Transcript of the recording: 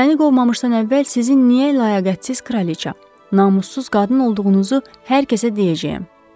Məni qovmamışdan əvvəl sizin nə layiəqətsiz kraliça, namussuz qadın olduğunuzu hər kəsə deyəcəyəm.